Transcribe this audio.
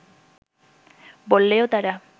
বললেও তারা